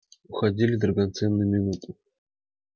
уходили драгоценные минуты